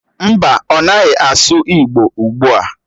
Mba, ọ naghị asụ igbo ugbua.